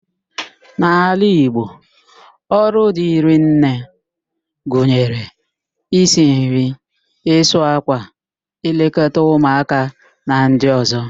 N'ala Igbo, ọrụ dịrị nne gụnyere: isi nri, ịsụ ákwà, ịlekọta ụmụáká na ndị ọ̀zọ́